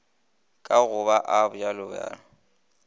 ka go a bj bj